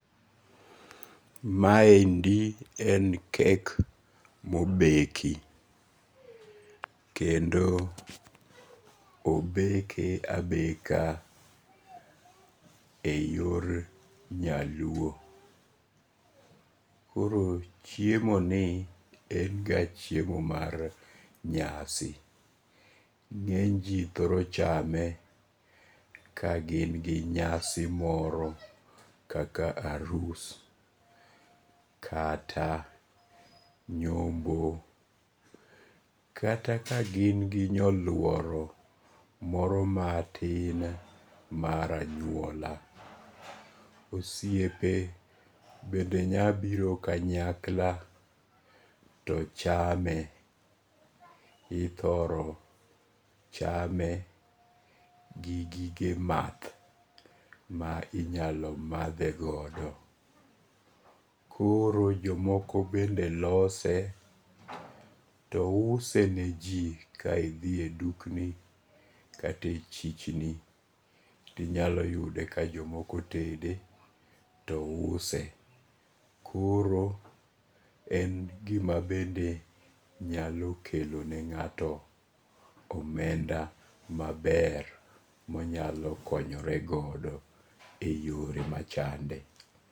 Maendi en cake[ mobeki kendo obeke abeka e yor nyaluo, koro chiemoni en ga chiemo mar nyasi, nge'ny ji thoro chame ka gin gi nyasi moro kaka arus kata nyombo kata ka gin gi nyoluoro moro matin maranyuola, osiepe bende nyalo biro kanyakla to chame, ithoro chame gi gige math ma inyalo mathe godo, koro jomoko bende lose to useneji, ka ithie dukni kata e chichni to inyalo yude ka jomoko bende use, koro en gima bende nyalo kelone nga'to omenda maber monyalo konyoregodo e yore machande